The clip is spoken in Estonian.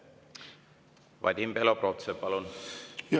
Vadim Belobrovtsev, palun!